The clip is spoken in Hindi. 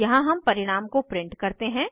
यहाँ हम परिणाम को प्रिंट करते हैं